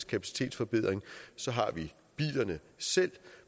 kapacitetsforbedring så har vi bilerne selv